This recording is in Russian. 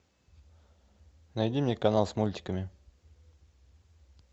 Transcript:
найди мне канал с мультиками